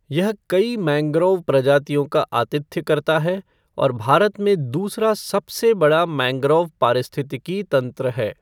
यह कई मैंग्रोव प्रजातियों का आतिथ्य करता है और भारत में दूसरा सबसे बड़ा मैंग्रोव पारिस्थितिकी तंत्र है।